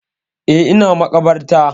Eh, ina maƙabarta.